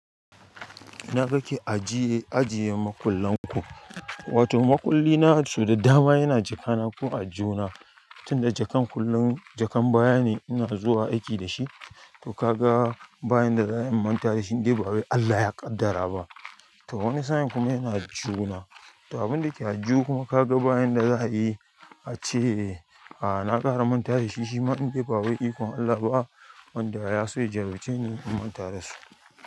Ina kake ajiye, ajiye makullan ku. Wato makulli na so da dama yana jaka na ko a aljihuna, tunda jakan kullum jakan baya ne ina zuwa aiki da shi, to ka ga bayan da zan a yi na manta da shi in ba wai Allah ya ƙaddara ba. To wani sa'in kuma yana aljihuna, abin da ke aljihu kuma ka ga bayan da za a yi ace, na ƙara manta dashi shima in ba wai ikon Allah ba wanda ya so ya jarrabce ni in manta dashi.